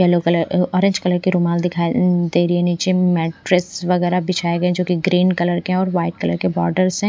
yellow colour orange colour के रुमाल दिखाई दे रही है नीचे मैट्रेस वगैरह बिछाए गए हैं जो कि ग्रीन कलर के हैं और वाइट कलर के बॉर्डर्स --